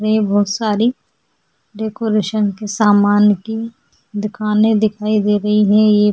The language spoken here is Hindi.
ये बहोत सारी डेकोरेशन के सामान की दकानें दिखाई दे रही हैं ये --